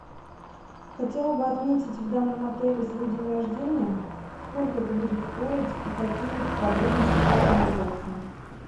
хотела бы отметить в данном отеле свой день рождения сколько это будет стоить и какие подробности по организации